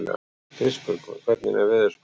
Kristbjörg, hvernig er veðurspáin?